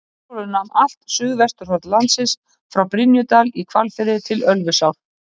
Ingólfur nam allt suðvesturhorn landsins frá Brynjudal í Hvalfirði til Ölfusár.